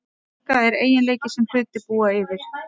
Orka er eiginleiki sem hlutir búa yfir.